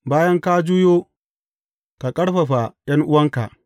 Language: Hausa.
Bayan ka juyo, ka ƙarfafa ’yan’uwanka.